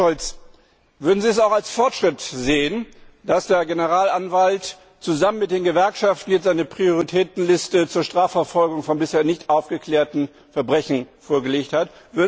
Herr Scholz, würden sie es auch als Fortschritt sehen, dass der Generalanwalt zusammen mit den Gewerkschaften jetzt eine Prioritätenliste zur Strafverfolgung von bisher nicht aufgeklärten Verbrechen vorgelegt hat?